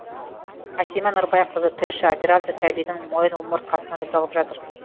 әсима нұрбайқызы тілші операция сәбидің мойын омыртқасына жасалып жатыр